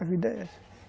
A vida é essa.